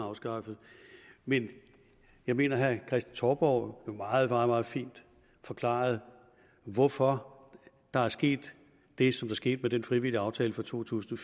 afskaffet men jeg mener at herre kristen touborg jo meget meget fint forklarede hvorfor der skete det som der skete med den frivillige aftale for to tusind